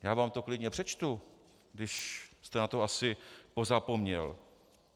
Já vám to klidně přečtu, když jste na to asi pozapomněl.